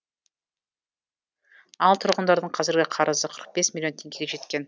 ал тұрғындардың қазіргі қарызы қырық бес миллион теңгеге жеткен